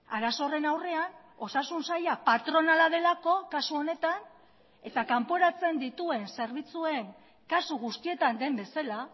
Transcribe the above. arazo horren aurrean osasun saila patronala delako kasu honetan eta kanporatzen dituen zerbitzuen kasu guztietan den bezala